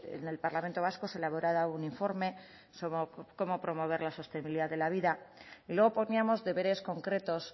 en el parlamento vasco se elaborará un informe sobre cómo promover la sostenibilidad de la vida y luego poníamos deberes concretos